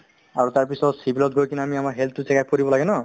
আৰু তাৰপিছত civil ত গৈ কিনে আমি আমাৰ health তো check up কৰিব লাগে ন